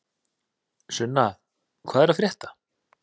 Sunna, hvað er að frétta?